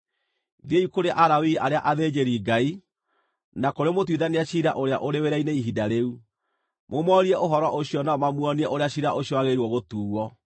Thiĩi kũrĩ Alawii arĩa athĩnjĩri-Ngai, na kũrĩ mũtuithania ciira ũrĩa ũrĩ wĩra-inĩ ihinda rĩu. Mũmoorie ũhoro ũcio nao mamuonie ũrĩa ciira ũcio wagĩrĩire gũtuuo.